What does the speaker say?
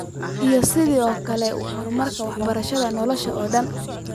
Iyo sidoo kale horumarka waxbarashada nolosha oo dhan.